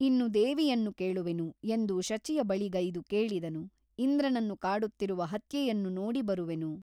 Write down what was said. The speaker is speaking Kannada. ಇನ್ನು ದೇವಿಯನ್ನು ಕೇಳುವೆನು ಎಂದು ಶಚಿಯ ಬಳಿಗೈದು ಕೇಳಿದನು ಇಂದ್ರನನ್ನು ಕಾಡುತ್ತಿರುವ ಹತ್ಯೆಯನ್ನು ನೋಡಿ ಬರುವೆನು.